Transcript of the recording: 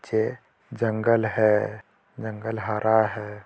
ये जंगल है जंगल हारा हे|